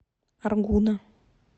аргуна